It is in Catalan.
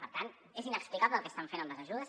per tant és inexplicable el que estan fent amb les ajudes